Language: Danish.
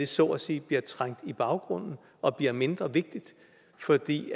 så at sige bliver trængt i baggrunden og bliver mindre vigtigt fordi